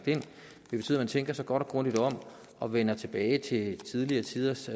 man tænker sig godt og grundigt om og vender tilbage til tidligere tiders